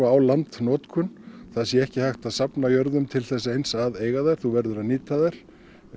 á landnotkun það sé ekki hægt að safna jörðum til þess eins að eiga þær þú verður að nýta þær